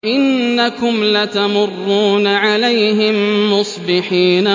وَإِنَّكُمْ لَتَمُرُّونَ عَلَيْهِم مُّصْبِحِينَ